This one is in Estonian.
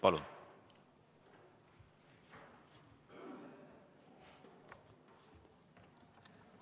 Palun!